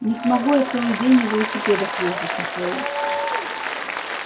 не смогу я целый день на велосипедах ездить михаил